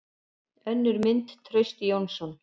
Önnur mynd: Trausti Jónsson.